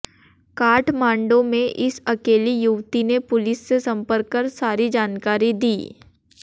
काठमांडो में इस अकेली युवती ने पुलिस से संपर्क कर सारी जानकारी दी